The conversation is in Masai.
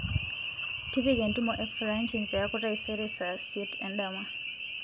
tipika entumo e francine peeku taisere saa isiet endama